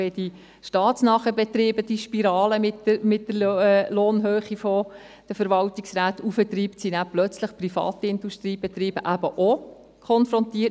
Wenn die staatsnahen Betriebe die Spirale mit der Lohnhöhe von Verwaltungsräten hinauftreiben, sind plötzlich eben auch Privatindustriebetriebe damit konfrontiert.